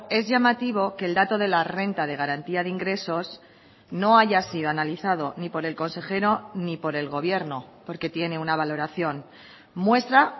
es llamativo que el dato de la renta de garantía de ingresos no haya sido analizado ni por el consejero ni por el gobierno porque tiene una valoración muestra